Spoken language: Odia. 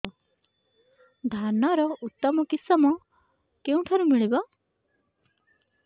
ଧାନର ଉତ୍ତମ କିଶମ କେଉଁଠାରୁ ମିଳିବ